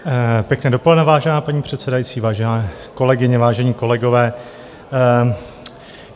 Pěkné dopoledne, vážená paní předsedající, vážené kolegyně, vážení kolegové.